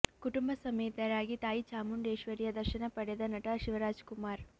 ಕುಟುಂಬ ಸಮೇತರಾಗಿ ತಾಯಿ ಚಾಮುಂಡೇಶ್ವರಿಯ ದರ್ಶನ ಪಡೆದ ನಟ ಶಿವರಾಜ್ ಕುಮಾರ್